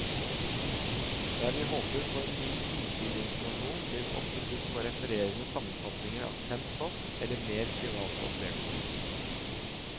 Der vi håper på en ny innsideinformasjon, blir vi ofte budt på refererende sammenfatningner av kjent stoff, eller mer private opplevelser.